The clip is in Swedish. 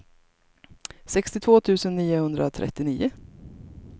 sextiotvå tusen niohundratrettionio